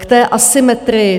K té asymetrii.